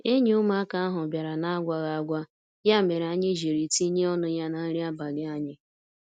Enyi ụmụaka ahụ bịara n'agwaghi agwa, ya mere anyị jiri tinye ọnụ ya na nri abalị anyị.